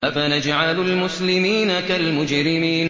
أَفَنَجْعَلُ الْمُسْلِمِينَ كَالْمُجْرِمِينَ